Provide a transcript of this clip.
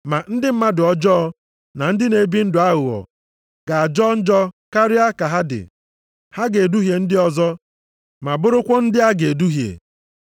Ma ndị mmadụ ọjọọ na ndị na-ebi ndụ aghụghọ ga-ajọ njọ karịa ka ha dị. Ha ga-eduhie ndị ọzọ, ma bụrụkwa ndị a ga-eduhie.